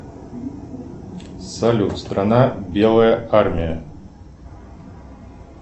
салют страна белая армия